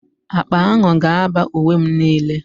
Akpa ahụ ga-aba uwe m niile.